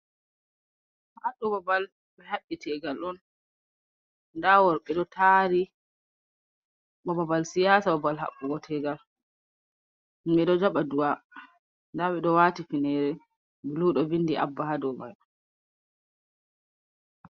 Haɗɗu babal be habbi tegal ɗon. Nɗa worbe ɗo taari. Ba babal siyasa ba bal habbugo tegal. Himbe ɗo jaba du'a. Ɗabe ɗo wati finere bulu ɗo vinɗi abba ha ɗow mai.